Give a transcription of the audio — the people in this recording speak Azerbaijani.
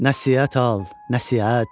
Nəsihət al, nəsihət.